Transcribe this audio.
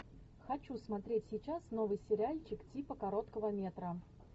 хочу смотреть сейчас новый сериальчик типа короткого метра